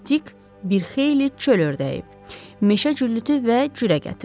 Dik bir xeyli çöl ördəyi, meşə cüllütü və cürə gətirdi.